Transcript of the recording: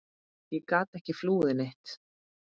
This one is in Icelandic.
Ég gat ekki flúið neitt.